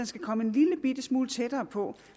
skal komme en lillebitte smule tættere på